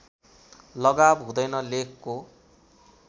लगाव हुँदैन लेखको